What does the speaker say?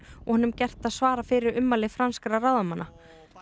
og honum gert að svara fyrir ummæli franskra ráðamanna